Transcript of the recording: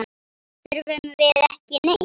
Þurfum við ekki neitt?